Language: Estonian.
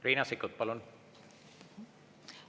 Riina Sikkut, palun!